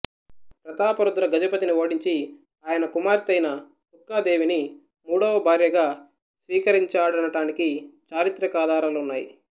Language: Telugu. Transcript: ప్రతాపరుద్ర గజపతిని ఓడించి ఆయన కూతురైన తుక్కా దేవిని మూడవ భార్యగా స్వీకరించాడటనటానికి చారిత్రకాధారాలున్నాయి